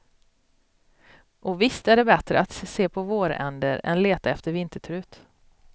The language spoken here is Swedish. Och visst är det bättre att se på våränder än leta efter vintertrut.